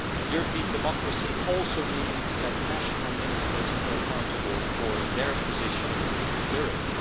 European democracy also means that national ministers are accountable for their position in Europe.